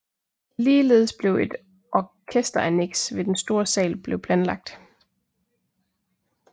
Ligeledes blev et orkesteranneks ved den store sal blev planlagt